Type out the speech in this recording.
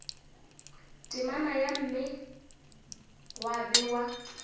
temana ya mme gwa bewa